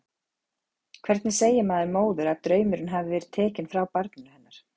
Hvernig segir maður móður að draumurinn hafi verið tekinn frá barninu hennar?